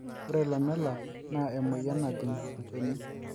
ore lamellar naa emoyian najing olchoni